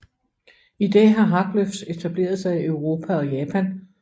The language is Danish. I dag har Haglöfs etableret sig i Europa og Japan